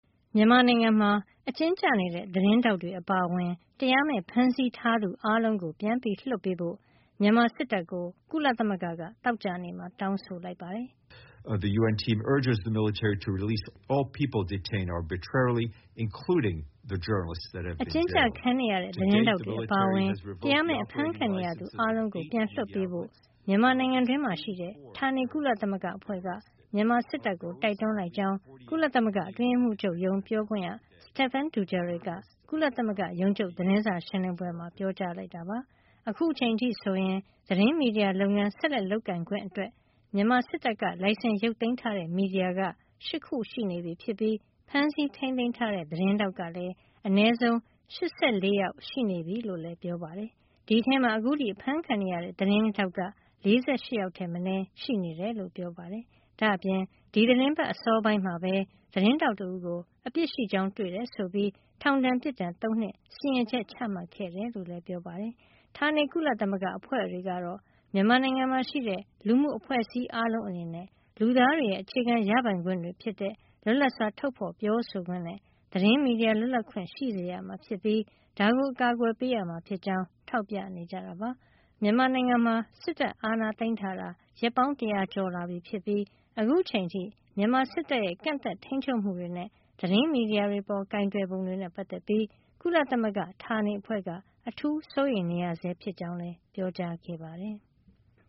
မြန်မာနိုင်ငံမှာ အကျဉ်းကျနေတဲ့ သတင်းထောက်တွေ အပါအဝင် တရားမဲ့ဖမ်းဆီးထားသူ အားလုံးကို ပြန်ပြီးလွှတ်ပေးဖို့ မြန်မာစစ်တပ်ကို ကုလသမဂ္ဂက သောကြာနေ့မှာ တောင်းဆိုလိုက်ပါတယ်။ အကျဉ်းကျခံနေရတဲ့ သတင်းထောက်တွေ အပါအဝင် တရားမဲ့အဖမ်းခံနေရသူ အားလုံးကို ပြန်လွှတ်ပေးဖို့ မြန်မာနိုင်ငံတွင်းမှာ ရှိတဲ့ ဌာနေ ကုလသမဂ္ဂအဖွဲ့က မြန်မာစစ်တပ်ကို တိုက်တွန်းလိုက်ကြောင်း ကုလသမဂ္ဂအတွင်းရေးမှုးချုပ်ရုံး ပြောခွင့်ရ Stephane Dujarric က ကုလသမဂ္ဂရုံးချုပ် သတင်းစာ ရှင်းလင်းပွဲမှာ ပြောကြားလိုက်တာပါ။ အခုချိန်အထိဆိုရင် သတင်းမီဒီယာလုပ်ငန်း ဆက်လက်လုပ်ကိုင်ခွင့်အတွက် မြန်မာစစ်တပ်က လိုင်စင် ရုတ်သိမ်းထားတဲ့ မီဒီယာက ၈ ခုရှိနေပြီဖြစ်ပြီး ဖမ်းဆီးထိမ်းသိမ်းထားတဲ့ သတင်းထောက်ကလည်း အနည်းဆုံး ၈၄ ယောက် ရှိနေပြီလို့လည်း ပြောပါတယ်။ အဲဒီထဲမှာ အခုထိ အဖမ်းခံနေရဆဲ သတင်းထောက်က ၄၈ ယောက်ထက် မနည်း ရှိနေတယ်လို့ ပြောပါတယ်။ ဒါ့အပြင် ဒီသီတင်းပတ်အစောပိုင်းမှာပဲ သတင်းထောက် တဦးကို အပြစ်ရှိကြောင်း တွေ့ရှိခဲ့တယ် ဆိုပြီး ထောင်ဒဏ် ပြစ်ဒဏ် ၃ နှစ် စီရင်ချက် ချမှတ်ခဲ့တယ်လို့လည်း ပြောပါတယ်။ ဌာနေကုလသမဂ္ဂအဖွဲ့တွေကတော့ မြန်မာနိုင်ငံမှာ ရှိတဲ့လူမှုအဖွဲ့အစည်းအားလုံးအနေနဲ့ လူသားတွေရဲ့ အခြေခံ ရပိုင်ခွင့်တွေဖြစ်တဲ့ လွတ်လပ်စွာ ထုတ်ဖေါ်ပြောဆိုခွင့်နဲ့ သတင်းမီဒီယာ လွတ်လပ်ခွင့်ရှိစေရမှာ ဖြစ်ပြီး ဒါကို အကာကွယ်ပေးရမှာ ဖြစ်ကြောင်း ထောက်ပြနေကြတာပါ။ မြန်မာနိုင်ငံမှာ စစ်တပ်အာဏာသိမ်းထားတာ ရက်ပေါင်း တရာကျော်လာပြီဖြစ်ပြီး အခုချိန်အထိ မြန်မာစစ်တပ်ရဲ့ ကန့်သတ် ထိမ်းချုပ်မှုတွေနဲ့ သတင်းမီဒီယာတွေ အပေါ်ကိုင်တွယ်ပုံတွေနဲ့ ပတ်သက်ပြီး ကုလသမဂ္ဂဌာနေအဖွဲ့က အထူးစိုးရိမ်နေရဆဲဖြစ်ကြောင်း လည်း ပြောကြားခဲ့ပါတယ်။